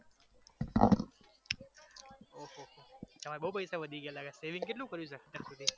તમારે બવ પૈસા વધી ગયા લાગે છે saving કેટલુ કર્યુ છે